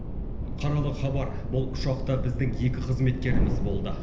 қаралы хабар бұл ұшақта біздің екі қызметкеріміз болды